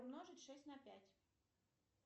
умножить шесть на пять